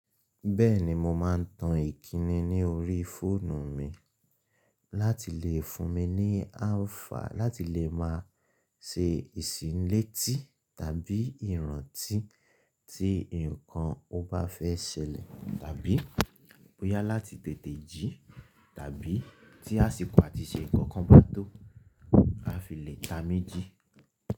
Bẹ́ẹ̀ni mo máa ń tan ìkíni ní orí fóònù mi láti lè fún mi ní alpha láti lè máa ṣe ìsinlé tí tàbí ìrántí tí nǹkan o bá fẹ́ ṣẹlẹ̀ tàbí bóyá láti tètè jí tàbí tí àsìkò àtìṣè ìkankan bá tó. A fi lè ta miji.